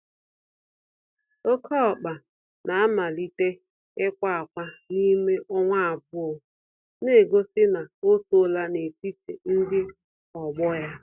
Oké ọkpa namalite ikwa ákwà n'ime ọnwa abụọ, negosi na otoola n'etiti ndị ọgbọ ya.